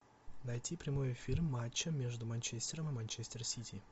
найти прямой эфир матча между манчестером и манчестер сити